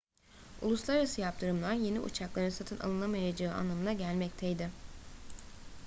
uluslararası yaptırımlar yeni uçakların satın alınamayacağı anlamına gelmekteydi